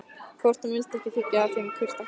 Hvort hún vildi ekki þiggja af þeim þurra vettlinga.